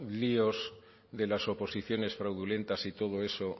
líos de las oposiciones fraudulentas y todo eso